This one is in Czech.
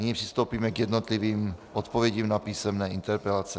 Nyní přistoupíme k jednotlivým odpovědím na písemné interpelace.